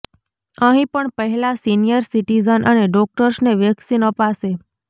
અહીં પણ પહેલાં સીનિયર સીટિઝન અને ડોક્ટર્સને વેક્સીન અપાશે